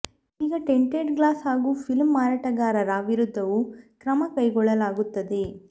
ಈಗ tinted glass ಹಾಗೂ film ಮಾರಾಟಗಾರರ ವಿರುದ್ಧವೂ ಕ್ರಮ ಕೈಗೊಳ್ಳಲಾಗುತ್ತದೆ